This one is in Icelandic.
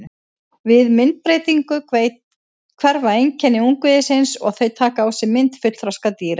Við myndbreytingu hverfa einkenni ungviðisins og þau taka á sig mynd fullþroska dýra.